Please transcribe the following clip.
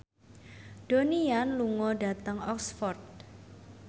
Donnie Yan lunga dhateng Oxford